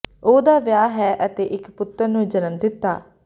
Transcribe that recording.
ਉਹ ਦਾ ਵਿਆਹ ਹੈ ਅਤੇ ਇੱਕ ਪੁੱਤਰ ਨੂੰ ਜਨਮ ਦਿੱਤਾ